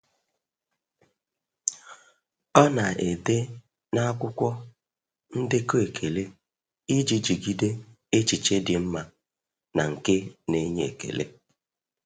Ọ na-ede n'akwụkwọ ndekọ ekele iji jigide echiche dị mma na nke na-enye ekele.